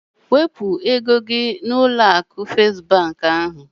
Wepụ ego gị n'ụlọ akụ festi ahu!